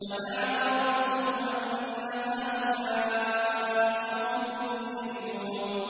فَدَعَا رَبَّهُ أَنَّ هَٰؤُلَاءِ قَوْمٌ مُّجْرِمُونَ